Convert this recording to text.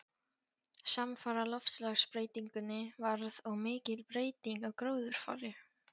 Samfara loftslagsbreytingunni varð og mikil breyting á gróðurfari.